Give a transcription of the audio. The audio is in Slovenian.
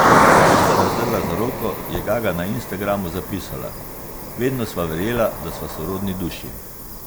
Ko sta razdrla zaroko, je Gaga na Instagramu zapisala: 'Vedno sva verjela, da sva sorodni duši.